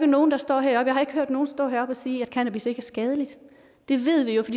nogen stå heroppe og sige at cannabis ikke er skadeligt det ved vi jo det